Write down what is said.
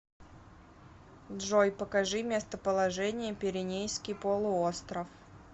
джой покажи местоположение пиренейский полуостров